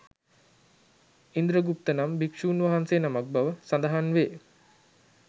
ඉන්ද්‍ර ගුප්ත නම් භික්‍ෂූන් වහන්සේ නමක් බව සඳහන් වේ.